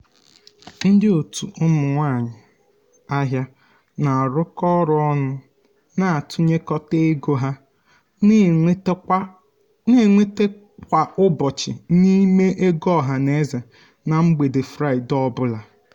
ndị otu um ụmụ nwanyị ahịa na-arụkọ ọrụ ọnụ na-atụnyekọta ego ha na-enweta kwa ụbọchị um n'ime ego ọhanaeze na mgbede fraịde ọ bụla. um